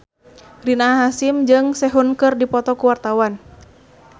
Rina Hasyim jeung Sehun keur dipoto ku wartawan